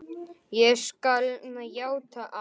Ég skal játa allt.